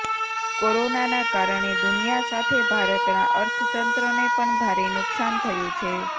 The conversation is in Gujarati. કોરોનાના કારણે દુનિયા સાથે ભારતના અર્થતંત્રને પણ ભારે નુકસાન થયું છે